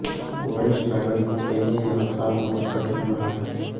वरिष्ठ नागरिकों के लिए यह साल बहुत कठिन रहा है